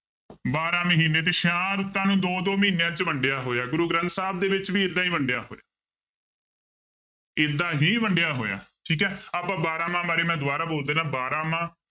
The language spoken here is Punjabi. ਬਾਰਾਂ ਮਹੀਨੇ ਤੇ ਛਿਆਂ ਰੁੱਤਾਂ ਨੂੰ ਦੋ ਦੋ ਮਹੀਨਿਆਂ 'ਚ ਵੰਡਿਆ ਹੋਇਆ ਗੁਰੂ ਗ੍ਰੰਥ ਸਾਹਿਬ ਦੇ ਵਿੱਚ ਵੀ ਏਦਾਂ ਹੀ ਵੰਡਿਆ ਹੋਇਆ ਏਦਾਂ ਹੀ ਵੰਡਿਆ ਹੋਇਆ ਹੈ ਠੀਕ ਹੈ ਆਪਾਂ ਬਾਰਾਂਮਾਂਹ ਬਾਰੇ ਮੈਂ ਦੁਬਾਰਾ ਬੋਲ ਦਿਨਾ ਬਾਰਾਂਮਾਂਹ